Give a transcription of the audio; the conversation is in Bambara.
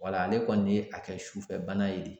Wala ale kɔni ye a kɛ sufɛ bana ye.